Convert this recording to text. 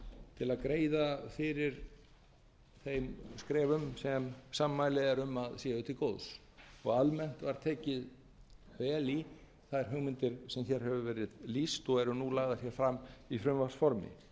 til að greiða fyrir þeim skrefum sem sammæli eru um að séu til góðs almennt var tekið vel í þær hugmyndir sem hér hefur verið lýst og eru nú lagðar hér fram í frumvarpsformi